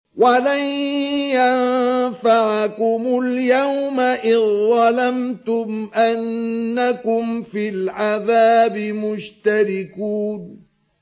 وَلَن يَنفَعَكُمُ الْيَوْمَ إِذ ظَّلَمْتُمْ أَنَّكُمْ فِي الْعَذَابِ مُشْتَرِكُونَ